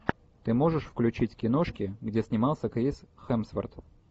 ты можешь включить киношки где снимался крис хемсворт